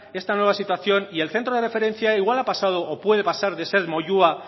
esta nueva situación y el centro de referencia igual ha pasado o puede pasar de ser moyua